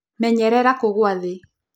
Menyerera kũgwa thĩ.